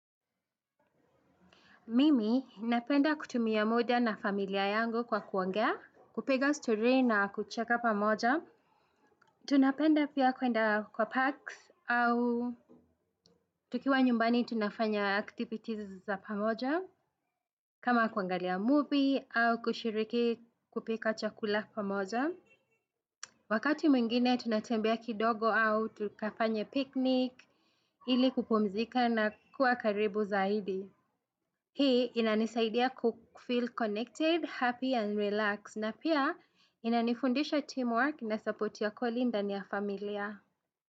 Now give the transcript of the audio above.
Mimi inapenda kutumia muda na familia yangu kwa kuongea, kupiga story na kucheka pamoja. Tunapenda pia kuenda kwa parks au tukiwa nyumbani tunafanya activities za pamoja. Kama kuangalia movie au kushiriki kupika chakula pamoja. Wakati mwingine tunatembea kidogo au tukafanya picnic ili kupumzika na kuwa karibu zaidi. Hii inanisaidia kufil connected, happy and relaxed na pia inanifundisha teamwork na support ya koli ndani ya familia.